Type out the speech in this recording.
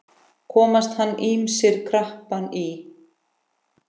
Komast hann ýmsir krappan í.